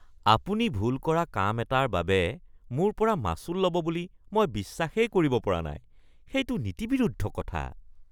আপুনি ভুল কৰা কাম এটাৰ বাবে মোৰ পৰা মাচুল ল’ব বুলি মই বিশ্বাসেই কৰিব পৰা নাই। সেইটো নীতিবিৰুদ্ধ কথা।